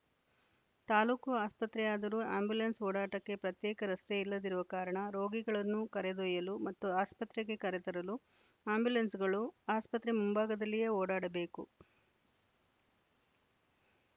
ತಾಲೂಕು ಆಸ್ಪತ್ರೆಯಾದರೂ ಆಂಬ್ಯುಲೆನ್ಸ್‌ ಓಡಾಟಕ್ಕೆ ಪ್ರತ್ಯೇಕ ರಸ್ತೆ ಇಲ್ಲದಿರುವ ಕಾರಣ ರೋಗಿಗಳನ್ನು ಕರೆದೊಯ್ಯಲು ಮತ್ತು ಆಸ್ಪತ್ರೆಗೆ ಕರೆತರಲು ಆಂಬ್ಯುಲೆನ್ಸ್‌ಗಳು ಆಸ್ಪತ್ರೆ ಮುಂಭಾಗದಲ್ಲಿಯೇ ಓಡಾಡಬೇಕು